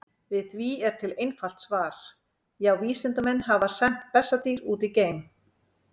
Við því er til einfalt svar: Já, vísindamenn hafa sent bessadýr út í geim!